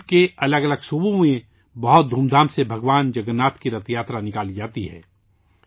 ملک کی الگ الگ ریاستوں سے بہت دھوم دھام سے بھگوان جگناتھ کی رتھ یاترا نکالی جاتی ہے